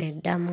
madam